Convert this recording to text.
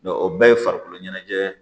o bɛɛ ye farikolo ɲɛnajɛ ye